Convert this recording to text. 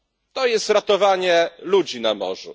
To jest ratowanie ludzi na morzu.